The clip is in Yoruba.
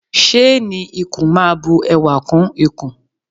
Ṣéénì ikùn máa bu ẹwà kún ikùn.